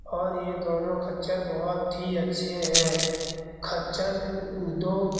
और ये दोनों खच्चर बहुत ही अच्छे हैं। । खच्चर दो --